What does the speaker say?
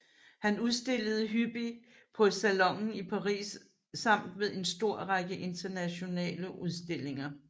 Han udstillede hyppig på Salonen i Paris samt ved en stor række internationale udstillinger